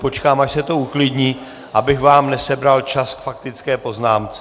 Počkám, až se to uklidní, abych vám nesebral čas k faktické poznámce.